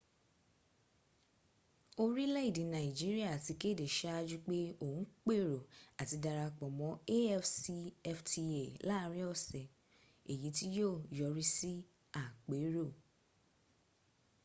orílèèdè nigeria ti kéde sáájú pé òun pèrò àti darapọ̀ mọ́ afcfta láàrin ọ̀sẹ̀ èyí tí yíó yọrí sí àpérò